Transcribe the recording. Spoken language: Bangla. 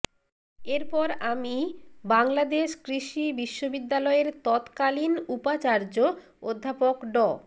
এরপর আমি বাংলাদেশ কৃষি বিশ্ববিদ্যালয়ের তৎকালীন উপাচার্য অধ্যাপক ড